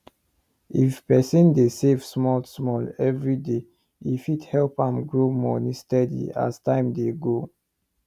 if person dey save small small every day e fit help am grow money steady as time dey go